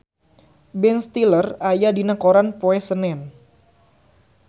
Ben Stiller aya dina koran poe Senen